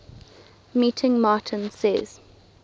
meeting martin says